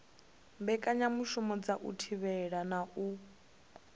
mbekanyamushumo dza u thivhela na